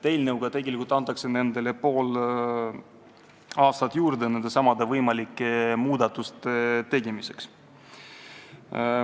Eelnõuga antakse neile pool aastat juurde nendesamade võimalike muudatuste tegemiseks.